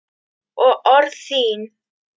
Og orð þín.